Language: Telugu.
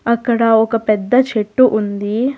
అక్కడ ఒక పెద్ద చెట్టు ఉంది.